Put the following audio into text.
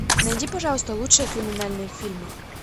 найди пожалуйста лучшие криминальные фильмы